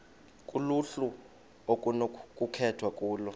kuluhlu okunokukhethwa kulo